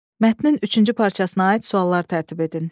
Mətnin üçüncü parçasına aid suallar tərtib edin.